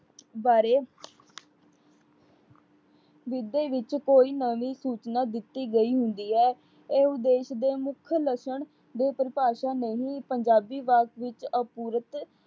ਬਾਰੇ ਜਿਦੇ ਵਿੱਚ ਕੋਈ ਨਵੀਂ ਸੂਚਨਾ ਦਿੱਤੀ ਗਈ ਹੁੰਦੀ ਹੈ। ਇਹ ਉਦੇਸ਼ ਦੇ ਮੁੱਖ ਲੱਸਣ ਦੇ ਪਰਿਭਾਸ਼ਾ ਨਹੀਂ। ਪੰਜਾਬੀ ਵੱਸ ਵਿੱਚ ਅਪੂਰਤ